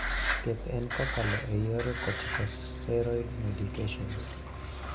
Thieth en kokalo e yor corticosteroid medications.